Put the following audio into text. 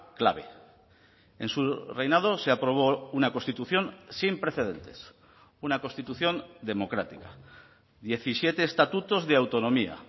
clave en su reinado se aprobó una constitución sin precedentes una constitución democrática diecisiete estatutos de autonomía